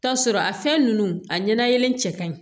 Taa sɔrɔ a fɛn nunnu a ɲɛna cɛ ka ɲi